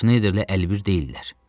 Şneyderlə əlibir deyillər.